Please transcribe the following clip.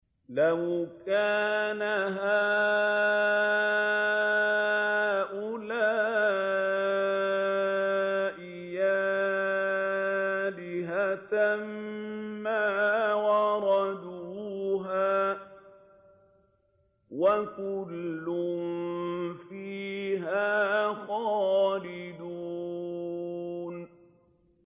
لَوْ كَانَ هَٰؤُلَاءِ آلِهَةً مَّا وَرَدُوهَا ۖ وَكُلٌّ فِيهَا خَالِدُونَ